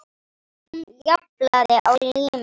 Hún japlaði á líminu.